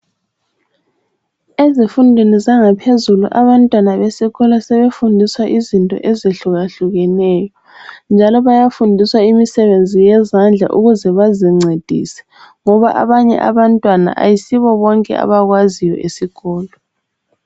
Ezifundweni zangaphezulu abantwana besikolo sebefundiswa izinto ezihlukahlukeneyo njalo bayafundiswa imisebenzi yezandla ukuze bazincedise ngoba abanye abantwana ayisibo bonke abakwaziyo esikolo.